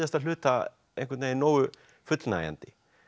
hluta einhvern veginn nógu fullnægjandi